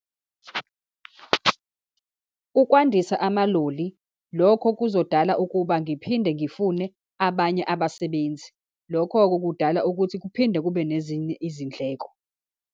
Ukwandisa amaloli, lokho kuzodala ukuba ngiphinde ngifune abanye abasebenzi. Lokho-ke kudala ukuthi kuphinde kube nezinye izindleko.